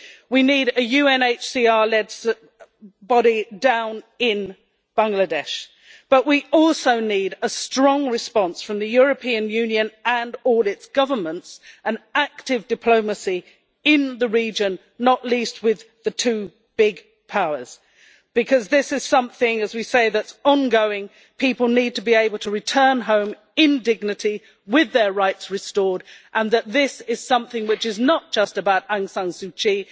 We need a UNHCR-led body down in Bangladesh, but we also need a strong response from the European Union and all its governments and active diplomacy in the region, not least with the two big powers, because this is something that is ongoing. People need to be able to return home in dignity with their rights restored. This is something which is not just about Aung San Suu Kyi